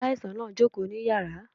Aláìsàn náà jókòó ní yàrá